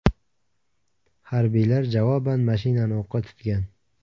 Harbiylar javoban mashinani o‘qqa tutgan.